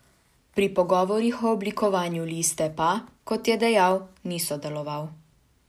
Pri pogovorih o oblikovanju liste pa, kot je dejal, ni sodeloval.